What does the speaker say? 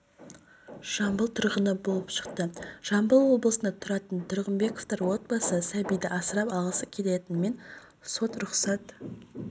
жамбыл тұрғыны болып шықты жамбыл облысында тұратын тұрғынбековтар отбасы сәбиді асырап алғысы келгенімен сот рұқсат